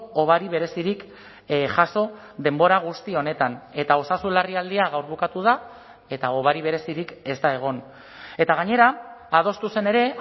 hobari berezirik jaso denbora guzti honetan eta osasun larrialdia gaur bukatu da eta hobari berezirik ez da egon eta gainera adostu zen ere